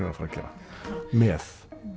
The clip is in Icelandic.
að fara að gera með